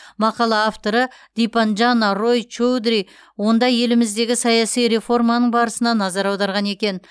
мақала авторы дипанджана рой чоудри онда еліміздегі саяси реформаның барысына назар аударған екен